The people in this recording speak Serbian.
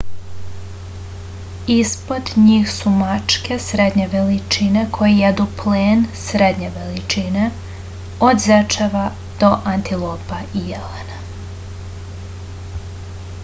ispod njih su mačke srednje veličine koje jedu plen srednje veličine od zečeva do antilopa i jelena